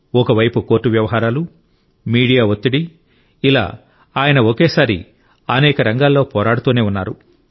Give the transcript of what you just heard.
ఒక వైపు కోర్టు వ్యవహారాలు మీడియా ఒత్తిడి ఇలా ఆయన ఒకేసారి అనేక రంగాల్లో పోరాడుతూనే ఉన్నారు